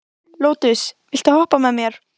Lótus, viltu hoppa með mér?